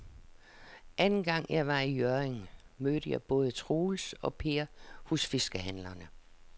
Anden gang jeg var i Hjørring, mødte jeg både Troels og Per hos fiskehandlerne.